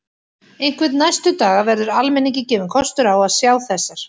Einhvern næstu daga verður almenningi gefinn kostur á að sjá þessar